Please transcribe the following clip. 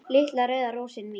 Litla rauða rósin mín.